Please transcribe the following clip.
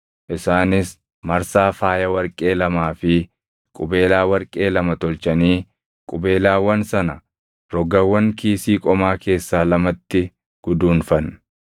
Isaanis marsaa faaya warqee lamaa fi qubeelaa warqee lama tolchanii qubeelaawwan sana rogawwan kiisii qomaa keessaa lamatti guduunfan.